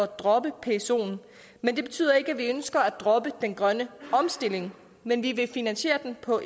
droppe psoen men det betyder ikke at vi ønsker at droppe den grønne omstilling men vi vil finansiere den på